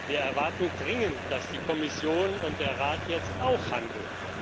Wir erwarten dringend, dass die Kommission und der Rat jetzt auch handeln.